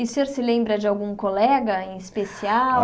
E o senhor se lembra de algum colega em especial?